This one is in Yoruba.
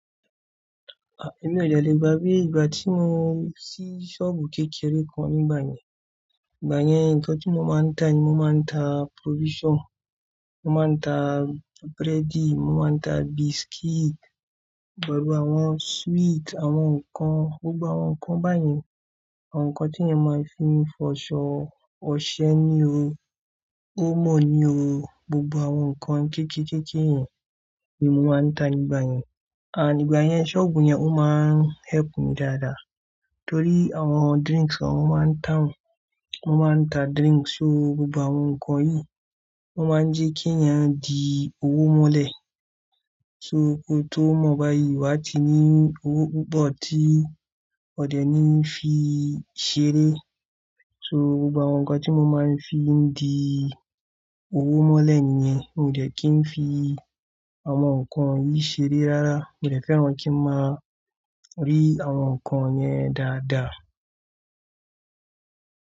Èmi odẹ le gbàgbé ìgbà tí mo ṣí sọ́ọ̀bù kékeré kan nígbà yẹn. Nígbà yẹn, nǹkan tí mo máa ń tà ni mo máa ń ta provision, mo máa ń ta búrẹ́dì, mo máa ń ta biscuit, gbogbo àwọn sweet, àwọn nǹkan, gbogbo àwọn nǹkan báyẹn. Àwọn nǹkan tí èèyàn máa fi fọṣọ ọṣẹ ní o, omó ni o. Gbogbo àwọn nǹkan kéékèèkéke yẹn ni mo máa ń tà nígbà yẹn. Ànd ígbà yẹn sọ́ọ̀bù yẹn ó máa ń help mi dáadáa. Nítorí àwọn drinks kan mo máa ń ta wọ́n, mo máa ń ta drinks so gbogbo àwọn nǹkan yìí. Wọ́n máa ń jẹ́ kí èèyàn di owó mọ́lẹ̀. So kó tó mọ̀ báyìí, wá ti ní owó púpọ̀ tí òdẹ níí fi ṣeré. So gbogbo àwọn nǹkan tí mo máa ń fi ń di owó mọ́lẹ̀ nìyẹn. Mi ò dẹ́kìí fi àwọn nǹkan yìí ṣeré rárá, mo dẹ̀ fẹ́ran kí n máa rí àwọn nǹkan yẹn dáadáa.